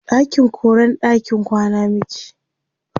ɗakin koren ɗakin kwana muke